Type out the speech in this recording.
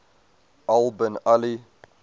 al bin ali